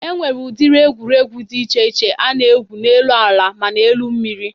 E nwere ụdịrị egwuregwụ dị che iche a na-egwu n'elu ala mana elu mmiri.